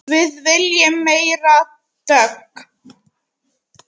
Við viljum meiri dögg!